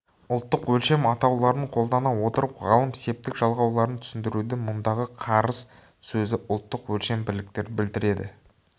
ұлттық өлшем атауларын қолдана отырып ғалым септік жалғауларын түсіндіруде мұндағы қарыс сөзі ұлттық өлшем бірлікті білдіреді